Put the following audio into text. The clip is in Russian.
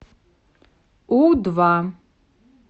у два